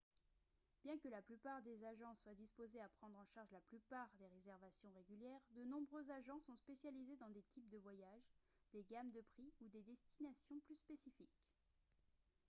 bien que la plupart des agences soient disposées à prendre en charge la plupart des réservations régulières de nombreux agents sont spécialisés dans des types de voyages des gammes de prix ou des destinations plus spécifiques